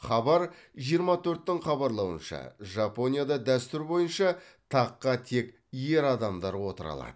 хабар жиырма төрттің хабарлауынша жапонияда дәстүр бойынша таққа тек ер адамдар отыра алады